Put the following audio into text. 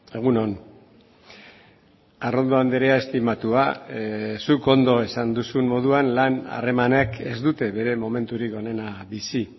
egun on arrondo andrea estimatua zuk ondo esan duzun moduan lan harremanek ez dute bere momenturik onena bizi